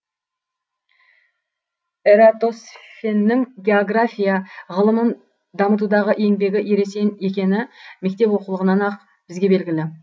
эратосфеннің география ғылымын дамытудағы еңбегі ересен екені мектеп оқулығынан ақ бізге белгілі